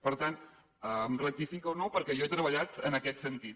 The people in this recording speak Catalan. per tant em rectifica o no perquè jo he treballat en aquest sentit